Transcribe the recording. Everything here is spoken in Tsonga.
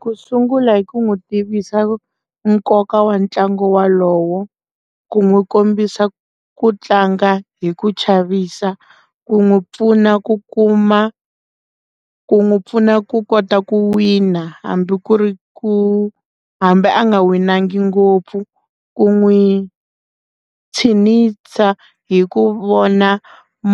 Ku sungula hi ku n'wi tivisa nkoka wa ntlangu wolowo ku n'wi kombisa ku tlanga hi ku chavisa ku n'wi pfuna ku kuma ku n'wi pfuna ku kota ku wina hambi ku ri ku hambi a nga winangi ngopfu ku n'wi tshineta hi ku vona